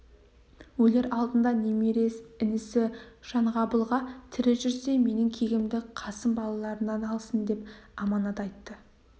өлер алдында немере інісі жанғабылға тірі жүрсе менің кегімді қасым балаларынан алсын деп аманат айтты